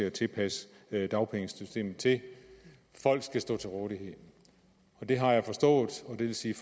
at tilpasse dagpengesystemet til det folk skal stå til rådighed det har jeg forstået og det vil sige